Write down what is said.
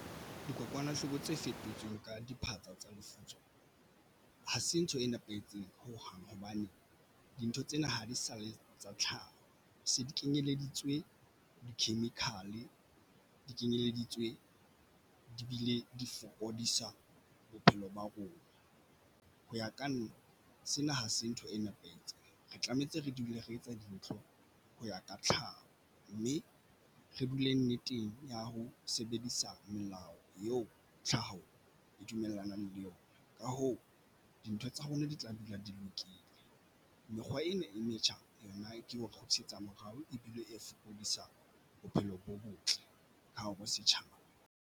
Dikokwanahloko tse fetotsweng ka diphatsa tsa lefutso hase ntho e nepahetseng ho hang hobane dintho tsena ha di sa le tsa tlhaho se di kenyeleditswe di-chemical, di kenyeleditswe di bile di fokodisa bophelo ba rona. Ho ya ka nna sena ha se ntho e nepahetse. Re tlametse re dule re etsa dintho ho ya ka tlhaho, mme re dule nneteng ya ho sebedisa melao eo tlhaho e dumellanang le yona. Ka hoo dintho tsa rona di tla dula di lokile. Mekgwa ena e metjha yona ke ho kgutlisetsa morao ebile e fokodisa bophelo bo botle ka bo setjhaba.